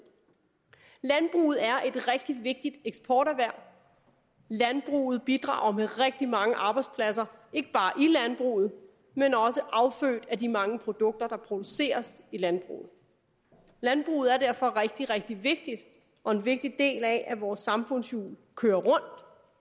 landbruget er et rigtig vigtigt eksporterhverv landbruget bidrager med rigtig mange arbejdspladser ikke bare i landbruget men også affødt af de mange produkter der produceres i landbruget landbruget er derfor rigtig rigtig vigtigt og en vigtig del af at vores samfundshjul kører